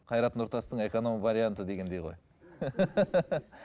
қайрат нұртастың эконом варианты дегендей ғой